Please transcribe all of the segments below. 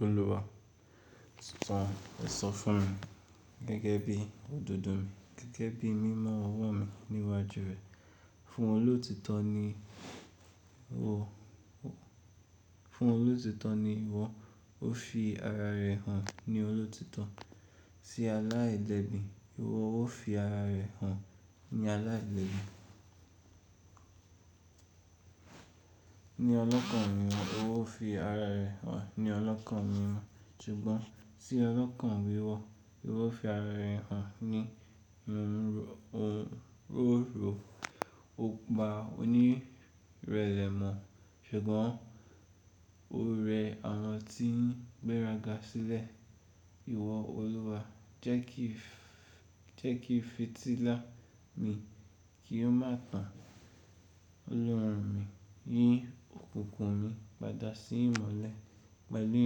Olúwa, san esan fún mi gẹ́gẹ́ bí òdodo mi, gẹ́gẹ́ bí mímọ ọwọ́ mi níwájú rẹ fun oloti to. Fún olótítọ ni ìwọ, ó fi ara rẹ̀ hàn ní olótítọ. Sí alá ìlẹ́ bí, ìwọ ó fi ara rẹ̀ hàn ní alá ìlẹ́ bí. Ni ọlọ́kan mimo, ó fi ara rẹ̀ hàn ní ọlọ́kan mimo. Ṣùgbọ́n tí ọlọ́kan wíwọ, ìwọ fi ara rẹ̀ hàn ní òróró. O pa onírẹ̀lẹ̀ mọ̀, ṣùgbọ́n o rẹ àwọn tí ń gbéraga sílẹ̀. Ìwọ Olúwa, jẹ́ kí fìtílà mi kí ó má tàn Ọlọ́run mi, yín òkùnkùn mi padà sí ìmọ́lẹ̀ pẹ̀lú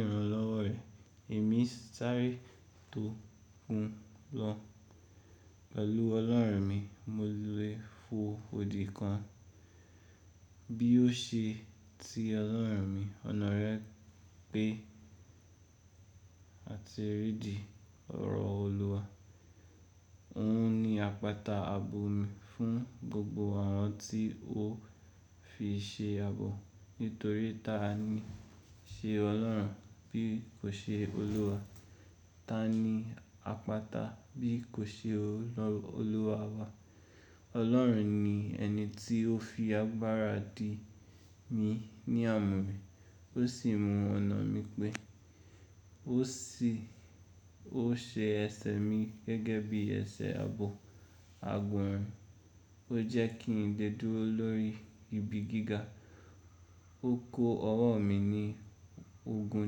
ìrànlọ́wọ́ rẹ. Èmi sáré tó kún lọ. Pẹ̀lú Ọlọ́run mi, mo lè fo odi kan. Bi o se ti olorun mi ona re pe ati ri idi oro oluwa. Òun ni àpáta àbò mi fún gbogbo àwọn tí ó fi ṣe àbò. Nitori tani se olorun bi o se oluwa. Taàní àpáta bí kò ṣe Olúwa wa? Ọlọ́run ni ẹni tí ó fi agbára dì mi ní àmúre, ó sì mú ọ̀nà mi pé. Ó ṣe ẹsẹ̀ mi gẹ́gẹ́ bí ẹsẹ̀ àbò, àgbọ̀n. Ó jẹ́ kí n le dúró lórí ibi gíga. Ó kó ọwọ́ mi ní ogun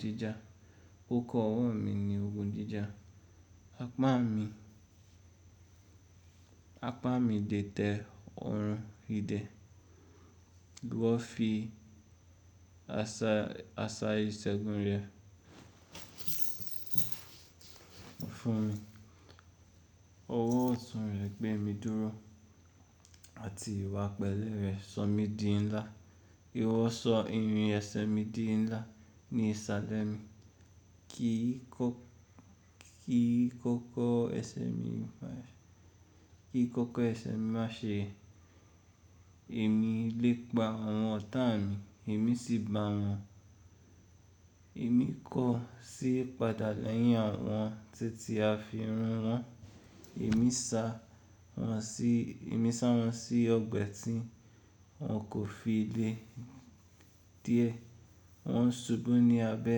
jíjà. Ó kó ọwọ́ mi ní ogun jíjà. Apá mi dètè ọ̀run ìdè. Ìwọ fi àṣá ìṣẹ́gun rẹ fún mi. Ọwọ́ ọ̀tún rẹ gbé mi dúró àti ìwà pẹlẹ́ rẹ sọ mí di ńlá. Ìwọ sọ irin ẹsẹ̀ mi di ńlá ní ìsàlẹ̀ mi. Kí kókó ẹsẹ̀ mi má ṣe. Èmi le pa àwọn ọ̀tá mi, èmi sì ba àwọn. Èmi kọ̀ sí padà lẹ́yìn àwọn tití àfi run wọn. Emi sa won si obe ti won ko fi le di e. Wọn ń ṣubú ní abẹ́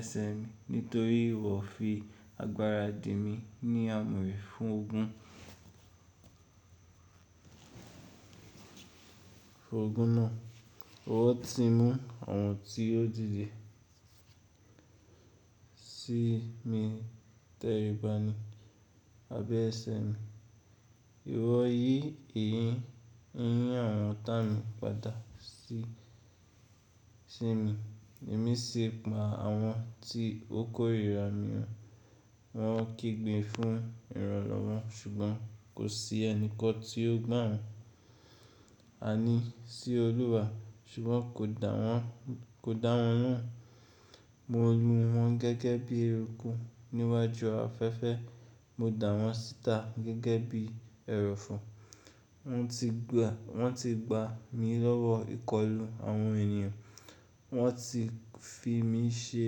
ẹsẹ̀ mi nítorí ìwọ fi agbára dì mi ní àmúre fún ogun náà. Ìwọ ti mú àwọn tí ó dìde sí mi tẹríba ni abẹ́ ẹsẹ̀ mi. Ìwọ yí eyín àwọn ọ̀tá mi padà sí mi. Èmi sì pa àwọn tí ó kórìíra mi hàn. Wọn kígbe fún ìrànlọ́wọ́ ṣùgbọ́n kò sí ẹni kọ́ tí ó gbà wọ́n. A ní sí Olúwa ṣùgbọ́n kò dáwọ́n lohun. Mo lu wọn gẹ́gẹ́ bí eruku níwájú afẹ́fẹ́. Mo dà wọ́n síta gẹ́gẹ́ bí ẹrọ̀fọ̀. Wọ́n ti gbà mi lọ́wọ́ ìkọlù àwọn ènìyàn. Wọ́n ti fi mí ṣe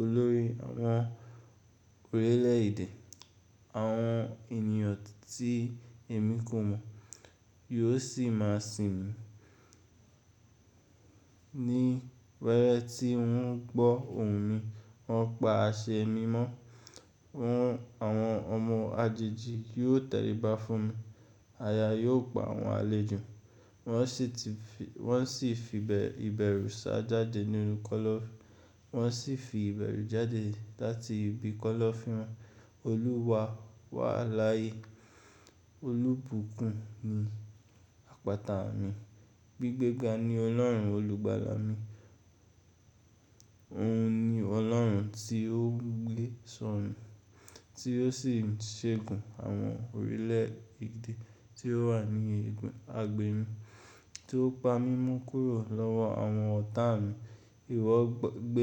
olórí àwọn orílẹ̀ èdè. Àwọn ènìyàn tí èmi kù mọ̀ yóò sì má sì mi. Ni were ti won gbo ohun mi won pa ase mimo won. Àwọn ọmọ àjèjì yóò tẹríba fún mi. Aya yóò pa àwọn àlejò won si ti. Wọn sì fi ìbẹ̀rù sá jáde nínu kọ́lọ́fín wọn. Wọn sì fi ìbẹ̀rù jáde láti ibi kọ́lọ́fín wọn. Olúwa wa laye olubukun ni apata mi. Gbigbega ni Ọlọ́run olùgbàlà mi. Òun ni Ọlọ́run tí ó gbé sọ̀ mí, tí ó sì ń ṣẹ́gun àwọn orílẹ̀-èdè tí ó wà ní agbè mi, tí ó pa mí mú kúrò lọ́wọ́ àwọn ọ̀tá mi. Ìwọ gbé.